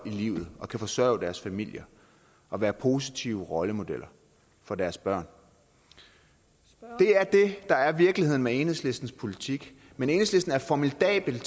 i livet og kunne forsørge deres familier og være positive rollemodeller for deres børn det er det der er virkeligheden ved enhedslistens politik men enhedslisten er formidabel